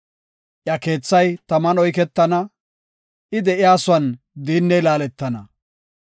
Iya keethay taman oyketana; I de7iyasuwan diinney laaletana.